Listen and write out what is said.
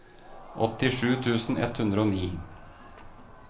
åttisju tusen ett hundre og ni